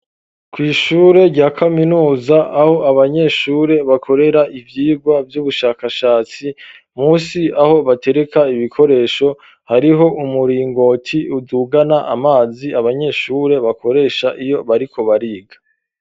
kw'ishure rya kaminuza aho abanyeshure bakorera ivyirwa vy'ubushakashatsi musi aho batereka ibikoresho hariho umuringoti udugana amazi abanyeshure bakoresha iyo bariko bariga.